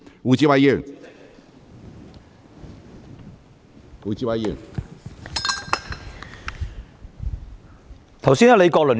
胡志偉議員，請提問。